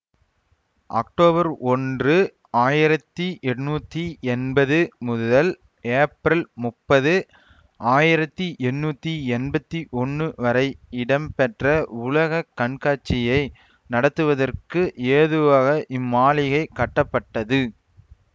October ஒன்று ஆயிரத்தி எண்ணூத்தி எம்பது முதல் ஏப்ரல் முப்பது ஆயிரத்தி எண்ணூத்தி எம்பத்தி ஒன்னு வரை இடம்பெற்ற உலக கண்காட்சியை நடத்துவதற்கு ஏதுவாக இம்மாளிகை கட்டப்பட்டது